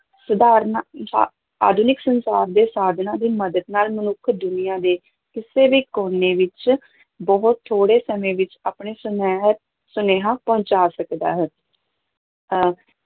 ਸਧਾਰਨ ਸਾ ਆਧੁਨਿਕ ਸੰਚਾਰ ਦੇ ਸਾਧਨਾਂ ਦੀ ਮਦਦ ਨਾਲ ਮਨੁੱਖ ਦੁਨੀਆਂ ਦੇ ਕਿਸੇ ਵੀ ਕੋਨੇ ਵਿੱਚ ਬਹੁਤ ਥੋੜ੍ਹੇ ਸਮੇਂ ਵਿੱਚ ਆਪਣੇ ਸੁਨੇਹ ਸੁਨੇਹਾਂ ਪਹੁੰਚਾ ਸਕਦਾ ਹੈ ਅਹ